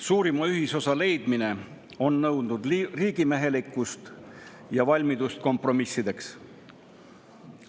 Suurima ühisosa leidmine on nõudnud riigimehelikkust ja valmidust kompromissideks.